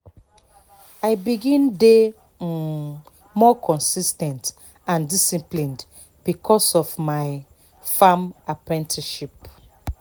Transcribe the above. i begin dey um more consis ten t and disciplined because of my farm apprenticeship